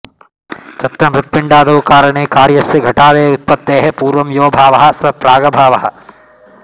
तत्र मृत्पिण्डादौ कारणे कार्यस्य घटादेरुत्पत्तेः पूर्वं योऽभावः स प्रागभावः